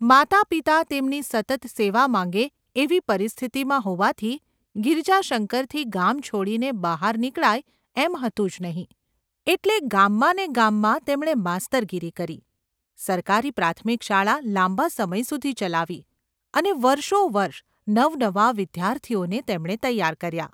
માતા-પિતા તેમની સતત સેવા માંગે એવી પરિસ્થિતિમાં હોવાથી ગિરિજાશંકરથી ગામ છોડીને બહાર નીકળાય એમ હતું જ નહિ એટલે ગામમાં ને ગામમાં તેમણે માસ્તરગીરી કરી, સરકારી પ્રાથમિક શાળા લાંબા સમય સુધી ચલાવી અને વર્ષોવર્ષ નવનવા વિદ્યાર્થીઓને તેમણે તૈયાર કર્યા.